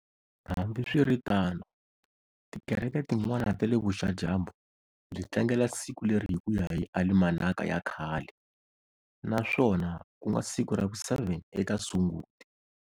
Hambiswiritano, tikereke tin'wana tale vuxa-dyambu byi tlangela siku leri hikuya hi Alimanaka ya khale, naswona kunga siku ravu 7 eka Sunguti.